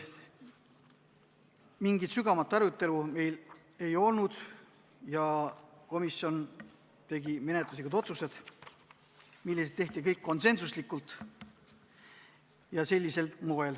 Mingit sügavamat arutelu meil ei olnud ja komisjon tegi menetluslikud otsused, mis kõik võeti vastu konsensuslikult.